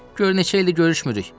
Gör neçə ildir görüşmürük.